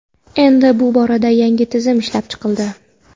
Endi bu borada yangi tizim ishlab chiqildi.